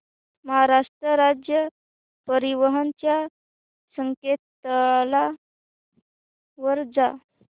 महाराष्ट्र राज्य परिवहन च्या संकेतस्थळावर जा